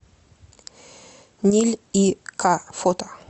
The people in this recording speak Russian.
ниль и к фото